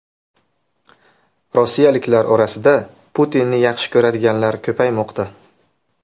Rossiyaliklar orasida Putinni yaxshi ko‘radiganlar ko‘paymoqda.